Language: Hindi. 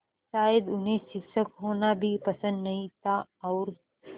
शायद उन्हें शिक्षक होना भी पसंद नहीं था और